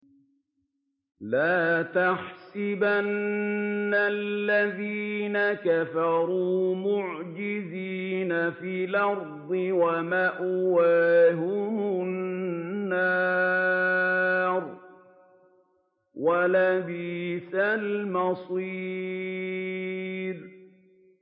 لَا تَحْسَبَنَّ الَّذِينَ كَفَرُوا مُعْجِزِينَ فِي الْأَرْضِ ۚ وَمَأْوَاهُمُ النَّارُ ۖ وَلَبِئْسَ الْمَصِيرُ